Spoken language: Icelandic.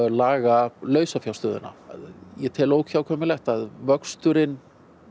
laga lausafjárstöðuna ég tel að vöxturinn